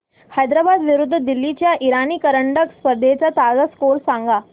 हैदराबाद विरुद्ध दिल्ली च्या इराणी करंडक स्पर्धेचा ताजा स्कोअर सांगा